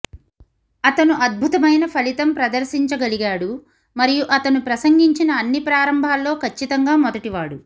అతను అద్భుతమైన ఫలితం ప్రదర్శించగలిగాడు మరియు అతను ప్రసంగించిన అన్ని ప్రారంభాల్లో ఖచ్చితంగా మొదటివాడు